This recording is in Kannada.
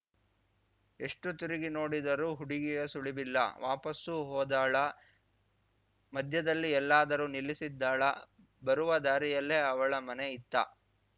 ಎಷ್ಣು ತಿರುಗಿ ನೋಡಿದರೂ ಹುಡುಗಿಯ ಸುಳಿವಿಲ್ಲ ವಾಪಸ್ಸು ಹೋದಳಾ ಮಧ್ಯದಲ್ಲಿ ಎಲ್ಲಾದರೂ ನಿಲ್ಲಿಸಿದ್ದಳಾ ಬರುವ ದಾರಿಯಲ್ಲೇ ಅವಳ ಮನೆ ಇತ್ತಾ